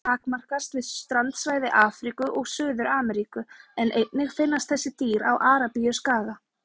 Útbreiðslu þeirra takmarkast við strandsvæði Afríku og Suður-Ameríku en einnig finnast þessi dýr á Arabíuskaga.